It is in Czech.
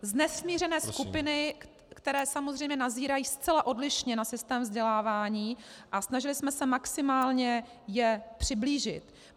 - nesmířené skupiny, které samozřejmě nazírají zcela odlišně na systém vzdělávání, a snažili jsme se maximálně je přiblížit.